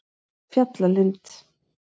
Fjallalind